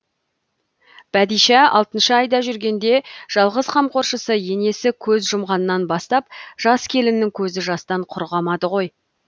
бәдишә алтыншы айда жүргенде жалғыз қамқоршысы енесі көз жұмғаннан бастап жас келіннің көзі жастан құрғамады ғой